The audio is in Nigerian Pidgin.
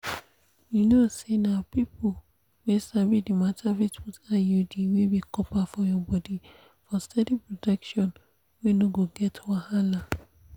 you know say na people wey sabi the matter fit put iud wey be copper for your body for steady protection wey no get wahala.